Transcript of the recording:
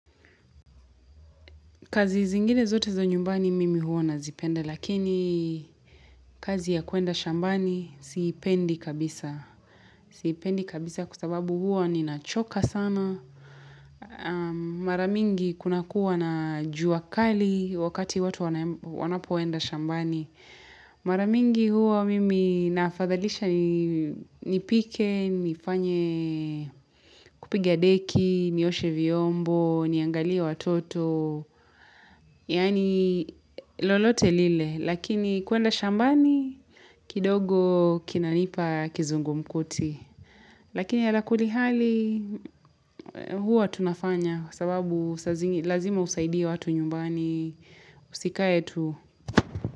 Kazi zingine zote za nyumbani mimi huwa nazipenda, lakini kazi ya kwenda shambani siipendi kabisa. Siipendi kabisa kwa sababu huwa ninachoka sana. Maramingi kuna kuwa na juakali wakati watu wanapoenda shambani. Maramingi huo mimi nafadhalisha nipike, nifanye kupiga deki, nioshe vyombo, niangalie watoto. Yani lolote lile. Lakini kwenda shambani. Kidogo kinanipa kizungu mkuti. Lakini ya lakuli hali. Hua tunafanya. Sababu lazima usaidie watu nyumbani. Usikae tu.